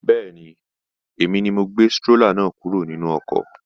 Bẹ́ẹ̀ni, èmi ni mo gbé strólà náà kúrò nínú ọkọ̀